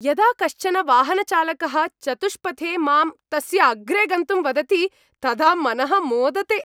यदा कश्चन वाहनचालकः चतुष्पथे माम् तस्य अग्रे गन्तुं वदति तदा मनः मोदते।